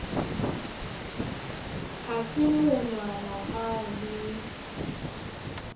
ha se monwana ha le